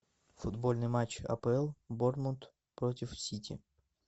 футбольный матч апл борнмут против сити